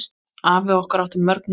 Afi okkar átti mörg nöfn.